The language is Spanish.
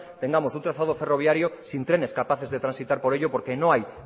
tengamos un trazado ferroviario sin trenes capaces de transitar por ello porque no hay